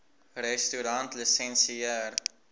restaurantlisensier